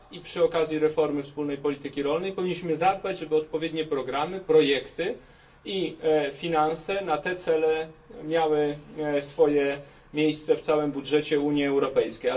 I przy okazji reformy wspólnej polityki rolnej powinniśmy zadbać, żeby odpowiednie programy, projekty i finanse na te cele miały swoje miejsce w całym budżecie Unii Europejskiej.